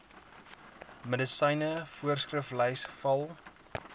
medisyne voorskriflys val